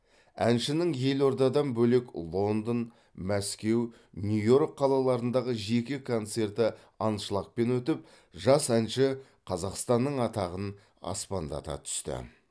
әншінің елордадан бөлек лондон мәскеу нью йорк қалаларындағы жеке концерті аншлагпен өтіп жас әнші қазақстанның атағын аспандата түсті